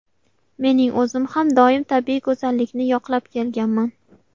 Mening o‘zim har doim tabiiy go‘zallikni yoqlab kelganman.